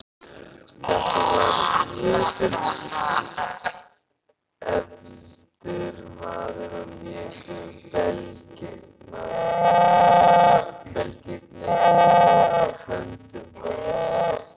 Þetta var jötunefldur maður og léku belgirnir í höndum hans.